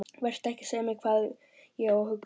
Vertu ekki að segja mér hvað ég á að hugsa!